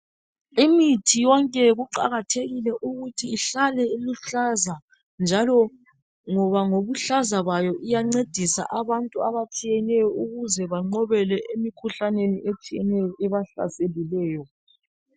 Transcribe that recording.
Imithi yonke kuqakathekile ukuthi ihlale iluhlaza njalo ngoba ngokuhlaza kwayo iyancedisa abantu abatshiyeneyo ukuze banqobele emikhuhlaneni etshiyeneyo ebahlaselileyo.